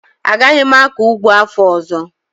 Agaghị m akọ ụgbọ afọ ọzọ